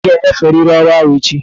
Obum ị ga-enyeferịrị ọrụ ahụ echi!